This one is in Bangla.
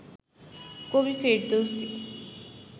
কবি ফেরদৌসী